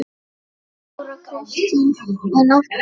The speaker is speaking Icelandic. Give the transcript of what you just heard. Þóra Kristín: En af hverju?